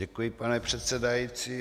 Děkuji, pane předsedající.